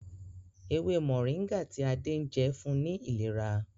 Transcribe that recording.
ewé Moringa tí Ade njé fún ní ìlera.